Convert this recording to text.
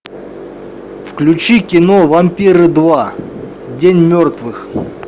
включи кино вампиры два день мертвых